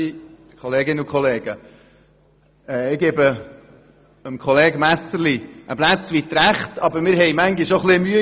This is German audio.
Aber wenn wir hier debattieren, ist es manchmal schwierig.